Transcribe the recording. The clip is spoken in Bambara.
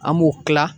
An b'u kila